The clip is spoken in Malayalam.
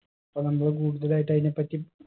അപ്പൊ നമ്മൾ കൂടുതലായിട്ട് അയിനെപ്പറ്റി